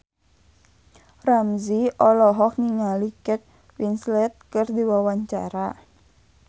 Ramzy olohok ningali Kate Winslet keur diwawancara